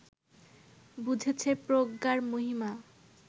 বুঝেছে প্রজ্ঞার মহিমা